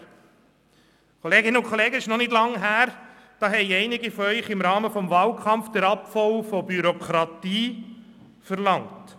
Liebe Kolleginnen und Kollegen, es ist noch nicht lange her, da haben einige von Ihnen im Rahmen des Wahlkampfs den Abbau der Bürokratie verlangt.